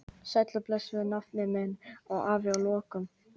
Sæll og blessaður, nafni minn, sagði afi að lokum.